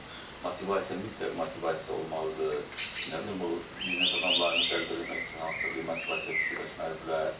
Motivasiya, mütləq motivasiya olmalıdır, nə bilim o biznes adamlarını cəlb eləmək üçün hansısa bir motivasiya fikirləşməlidirlər.